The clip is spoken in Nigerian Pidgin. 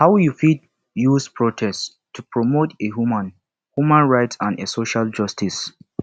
how you fit use protest to promote a human human rights and a social justice